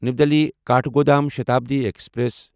نیو Delhi Kathgodam Shatabdi express